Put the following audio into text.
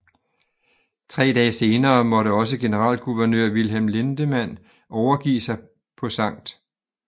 Tre dage senere måtte også generalguvernør Wilhelm Lindemann overgive sig på Skt